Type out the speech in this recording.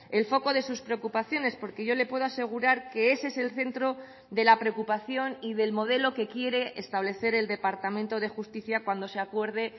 el foco de sus preocupaciones porque yo le puedo asegurar que ese es el centro de la preocupación y del modelo que quiere establecer el departamento de justicia cuando se acuerde